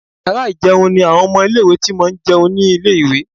Yàrá ì̀jẹun ni àwọn ọmọ ilé-ìwé ti máa ń jẹ ní ilé-ìwé